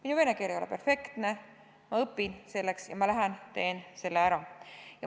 Minu vene keel ei ole perfektne, aga ma õpin selleks ja ma lähen teen selle ära.